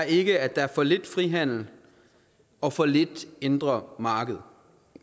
ikke at der er for lidt frihandel og for lidt indre marked